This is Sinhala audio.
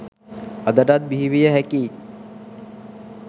අදටත් බිහිවිය හැකියි.